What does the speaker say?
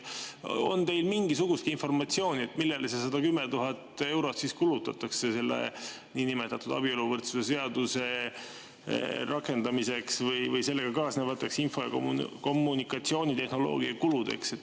On teil mingisugustki informatsiooni, millele see 110 000 eurot siis kulutatakse, mis läheb niinimetatud abieluvõrdsuse seaduse rakendamisega kaasnevateks info- ja kommunikatsioonitehnoloogia kuludeks?